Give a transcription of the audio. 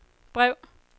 brev